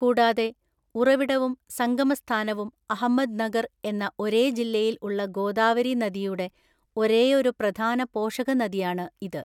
കൂടാതെ, ഉറവിടവും സംഗമസ്ഥാനവും അഹമ്മദ്നഗർ എന്ന ഒരേ ജില്ലയിൽ ഉള്ള ഗോദാവരി നദിയുടെ ഒരേയൊരു പ്രധാന പോഷകനദിയാണ് ഇത്.